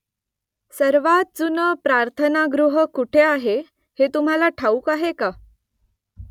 सर्वांत जुनं प्रार्थनागृह कुठे आहे हे तुम्हाला ठाऊक आहे का ?